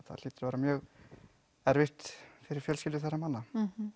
hlýtur að vera mjög erfitt fyrir fjölskyldur þeirra manna